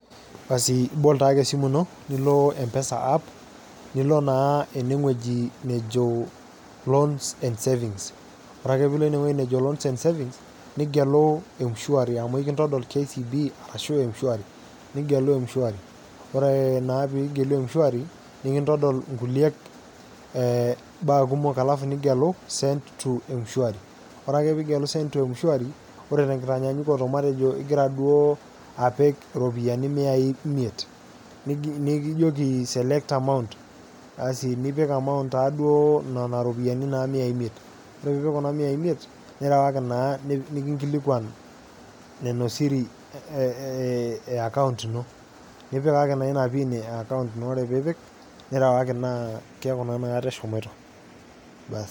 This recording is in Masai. Iibol taake esimu ino nilo mpesa app nilo naa enewwji nejoo loans and savings, ore piilo ineweji nejo loans and savings nigelu m-shuari amu kintodol KCB ashu m-shuari nigelu m-shuari, oree naa piigelu m-shuari nikintodol nkulek baa kumok alafy nigelu send to Mshwari ore piigelu send to mshwari, ore te nkitanyanyakinoto matejo igira duo aapik iropiyiani miaii imiet nikijokii select amount nipik amount naado nena iropiyiani miaii imiet, ore piipik kuna miaii imiet nirawaki naa nikinkilikwan nenia siri eakaunt ino nipikaki naa ina piin ekaunt ino ,ore piipik nirawaki naa keaku naa inakata eshomoto.